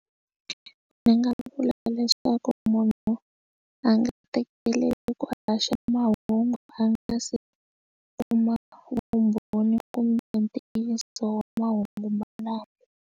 Ndzi nga vula leswaku munhu a nga tekeleli ku a haxa mahungu a nga se kuma vumbhoni kumbe ntiyiso mahungu malamo.